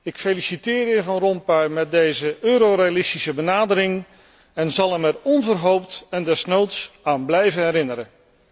Ik feliciteer de heer Van Rompuy met deze Eurorealistische benadering en zal hem er onverhoopt en desnoods aan blijven herinneren.